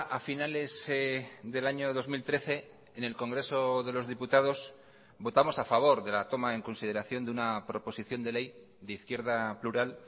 a finales del año dos mil trece en el congreso de los diputados votamos a favor de la toma en consideración de una proposición de ley de izquierda plural